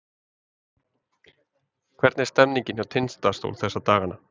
Hvernig er stemningin hjá Tindastól þessa dagana?